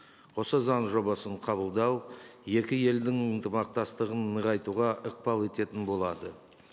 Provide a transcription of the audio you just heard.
осы заң жобасын қабылдау екі елдің ынтымақтастығын нығайтуға ықпал ететін болады